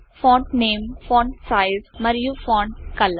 font name font size మరియు font colour